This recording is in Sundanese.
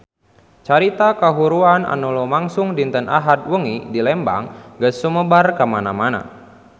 Carita kahuruan anu lumangsung dinten Ahad wengi di Lembang geus sumebar kamana-mana